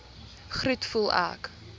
groet voel ek